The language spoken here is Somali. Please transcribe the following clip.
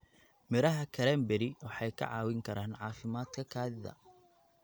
Midhaha cranberry waxay ka caawin karaan caafimaadka kaadida.